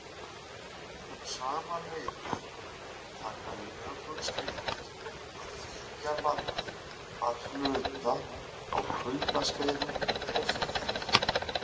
Um sama leyti taka jökulskildir að þekja landið að hluta á kuldaskeiðum og fyrir